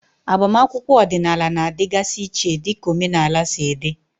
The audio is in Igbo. Agbamakwụkwọ ọdịnala na-adịgasị iche dịka omenala si dị.